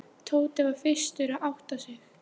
Tóti var fyrstur að átta sig.